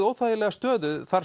óþægilega stöðu þarf